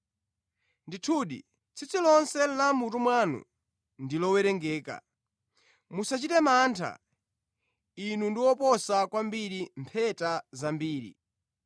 Ndithudi, tsitsi lonse la mʼmutu mwanu ndi lowerengedwa. Musachite mantha; inu ndi oposa kwambiri mpheta zambiri.